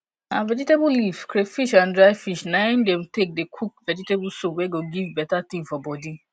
na vegetable leaf crayfish and dry fish na im dey take dey cook vegetable soup wey go give better thing for body